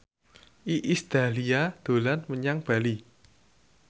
Iis Dahlia dolan menyang Bali